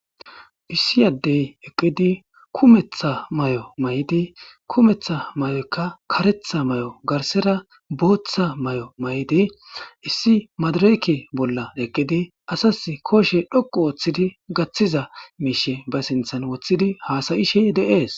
Issi addey eqqidi kumetha may7o may7di kumetha may7okka karetha may7o garsera booththa may7o may7di issi madrke bolla eqqidi asas kooshe dhoqu oooththidi gaththiza miishe ba sinthan woththidi haasayishe de7ees.